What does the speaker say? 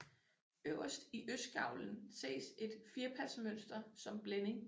Øverst i østgavlen ses et firpasmønster som blænding